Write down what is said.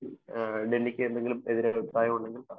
ഡെന്നിക്ക് എന്തെങ്കിലും എതിർ അഭിപ്രായം ഉണ്ടെങ്കിൽ പറയാം.